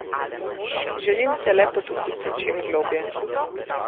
Želim se le potopiti čim globlje.